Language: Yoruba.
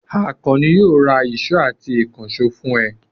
Àkànní yóò ra ìṣó àti ìkànṣó fún ẹ.